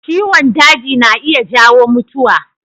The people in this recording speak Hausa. Ciwon daji na iya jawo mutuwa.